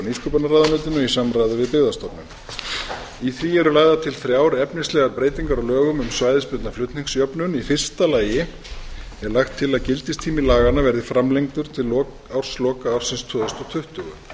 nýsköpunarráðuneytinu í samráði við byggðastofnun í því eru lagðar til þrjár efnislegar breytingar á lögum um svæðisbundna flutningsjöfnun í fyrsta lagi er lagt til að gildistími laganna verði framlengdur til ársloka ársins tvö þúsund tuttugu